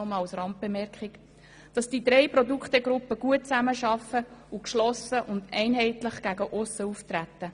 verschiedenen der doch das nur am Rande – gut zusammenarbeiten und gegen aussen geschlossen und einheitlich auftreten.